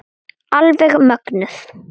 Alveg mögnuð.